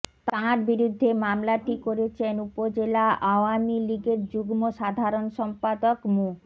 তাঁর বিরুদ্ধে মামলাটি করেছেন উপজেলা আওয়ামী লীগের যুগ্ম সাধারণ সম্পাদক মো